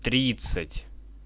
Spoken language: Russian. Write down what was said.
тридцать